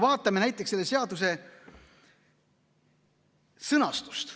Vaatame näiteks selle seaduse sõnastust.